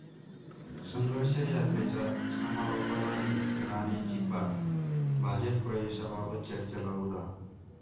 संघर्ष यात्रेच्या समारोपालाही राणेंची पाठ, भाजप प्रवेशाबाबत चर्चेला उधाण